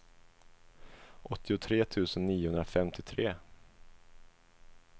åttiotre tusen niohundrafemtiotre